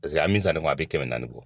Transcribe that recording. a ye min san ne kun a bɛ kɛmɛ naani bɔ